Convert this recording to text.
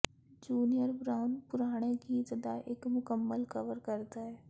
junior Brown ਪੁਰਾਣੇ ਗੀਤ ਦਾ ਇੱਕ ਮੁਕੰਮਲ ਕਵਰ ਕਰਦਾ ਹੈ